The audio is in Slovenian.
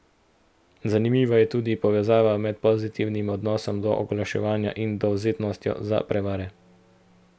Zanimiva je tudi povezava med pozitivnim odnosom do oglaševanja in dovzetnostjo za prevare.